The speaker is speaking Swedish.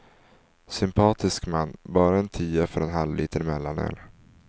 Sympatisk man, bara en tia för en halv liter mellanöl.